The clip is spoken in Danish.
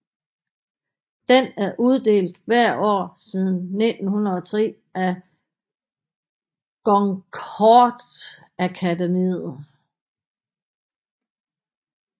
Den er uddelt hvert år siden 1903 af Goncourtakademiet